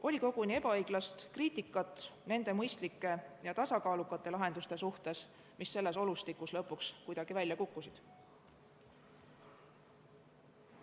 Oli koguni ebaõiglast kriitikat nende mõistlike ja tasakaalukate lahenduste suhtes, mis selles olustikus lõpuks kuidagi välja kukkusid.